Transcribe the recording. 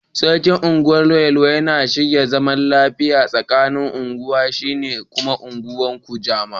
Sarkin unguwar yelwa yana shirin zaman lafiya tsaƙanin ungwar shi da ungwan kujama.